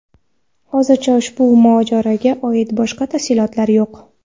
Hozircha ushbu mojaroga oid boshqa tafsilotlar yo‘q.